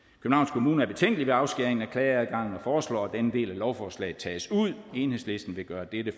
kommune er betænkelige ved afskæringen af klageadgangen og foreslår at denne del af lovforslaget tages ud enhedslisten vil gøre dette